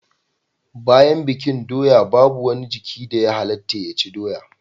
Bayan bikin doya babu wani jiki da ya halatta ya ci doya